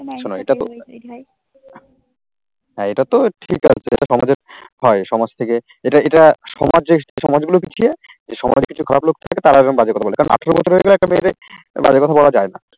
হ্যাঁ এটা তো ঠিক আছে এটা তো সমাজের হয় সমাজ থেকে এটা এটা সমাজের সমাজগুলো পিছিয়ে এই সমাজে কিছু খারাপ লোক থাকে তারাও এরম বাজে কথা বলে কারণ আঠেরো বছর হয়ে গেলে একটা মেয়েদের বাজে কথা বলা যায় না।